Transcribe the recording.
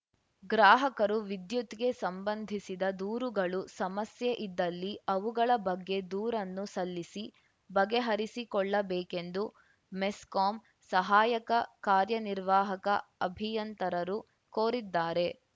ಗ್ರಾಹಕರು ವಿದ್ಯುತ್‌ಗೆ ಸಂಬಂಧಿಸಿದ ದೂರುಗಳು ಸಮಸ್ಯೆ ಇದ್ದಲ್ಲಿ ಅವುಗಳ ಬಗ್ಗೆ ದೂರನ್ನು ಸಲ್ಲಿಸಿ ಬಗೆಹರಿಸಿಕೊಳ್ಳಬೇಕೆಂದು ಮೆಸ್ಕಾಂ ಸಹಾಯಕ ಕಾರ್ಯನಿರ್ವಾಹಕ ಅಭಿಯಂತರರು ಕೋರಿದ್ದಾರೆ